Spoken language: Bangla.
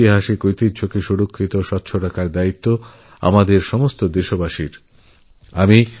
ঐতিহাসিক সৌধ সুরক্ষা ও সংরক্ষণ সমস্ত দেশবাসীর দায়িত্ব